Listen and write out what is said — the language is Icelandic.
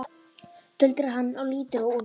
tuldrar hann og lítur á úrið.